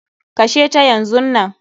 Kashe ta yanzunnan.